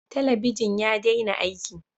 Talabijin ya dena aiki